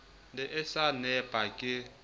ne a sa nepa ke